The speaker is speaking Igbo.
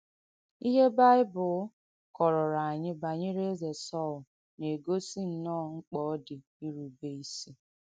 Ihe Báìbùl kọ̀rọ̀rọ̀ ànyị banyere Èzē Sọ̀l na-ègọ́sì ǹnọ́ọ̀ m̀kpà ọ dì ìrùbé ìsị.